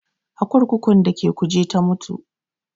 A kurkukun da ke Kuje ta mutu